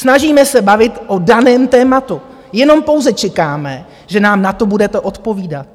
Snažíme se bavit o daném tématu, jenom pouze čekáme, že nám na to budete odpovídat.